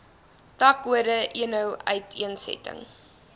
takkode eno uiteensetting